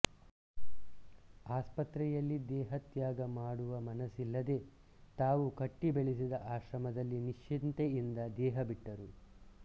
ಆಸ್ಪತ್ರೆ ಯಲ್ಲಿ ದೇಹತ್ಯಾಗ ಮಾಡುವ ಮನಸ್ಸಿಲ್ಲದೆ ತಾವು ಕಟ್ಟಿ ಬೆಳೆಸಿದ ಆಶ್ರಮದಲ್ಲಿ ನಿಶ್ಚಿಂತೆಯಿಂದ ದೇಹ ಬಿಟ್ಟರು